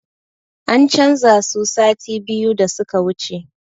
An canza su sati biyu da suka wuce